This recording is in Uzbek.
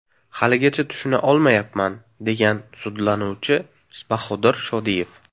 Haligacha tushuna olmayapman”, degan sudlanuvchi Bahodir Shodiyev.